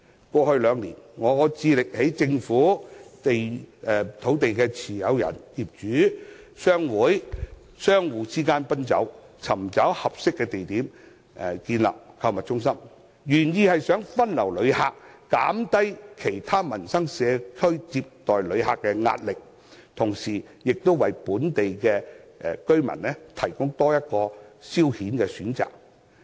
過去兩年，我致力在政府、土地持有人、業主、商會和商戶之間奔走，尋找合適地點建立購物中心，原意是想分流旅客，減低其他社區接待旅客的壓力，同時亦為本地居民提供多一個消遣選擇。